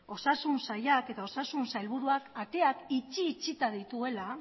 osasun sailak eta osasun sailburuak ateak itxi itxita dituela